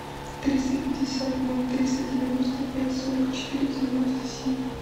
триста пятьдесят ноль триста девяносто пять сорок четыре девяносто семь